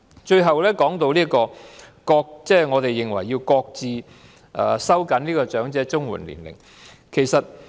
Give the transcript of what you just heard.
最後，我們認為要擱置收緊長者綜援的合資格年齡。